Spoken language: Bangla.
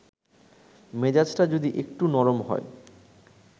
মেজাজটা যদি একটু নরম হয়